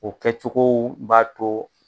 O kɛ cogow b'a to